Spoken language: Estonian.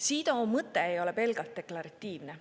CEDAW mõte ei ole pelgalt deklaratiivne.